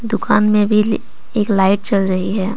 दुकान में भी एक लाइट जल रही है।